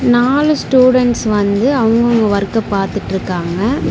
நாலு ஸ்டூடண்ட்ஸ் வந்து அவங்கவங்க வொர்க பாத்துட்ருக்காங்க.